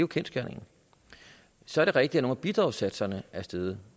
kendsgerningen så er det rigtigt at nogle af bidragssatserne er steget